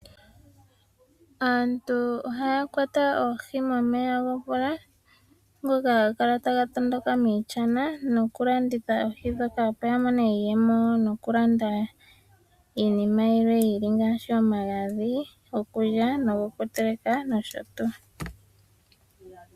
Aantu ohaya kwata oohi momeya gomvula ngoka haga kala taga tondoka miishana noku landitha oohi ndhoka opo ya mone iiyemo noku landa iinima yilwe ngaashi omagadhi gokulya nogo kuteleka nosho tuu.